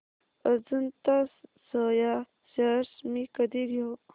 Ajanta soya shares मी कधी घेऊ